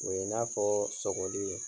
O ye i n'a fɔɔ sɔgɔli ye